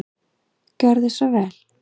Gjörðu svo vel.